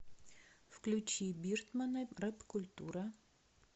включи биртмана рэпкультура